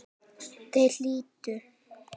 Þeir hlýddu.